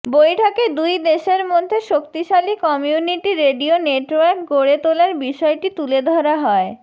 বৈঠকে দুই দেশের মধ্যে শক্তিশালী কমিউনিটি রেডিও নেটওয়ার্ক গড়ে তোলার বিষয়টি তুলে ধরা হয়